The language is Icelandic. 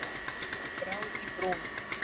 Brá í brún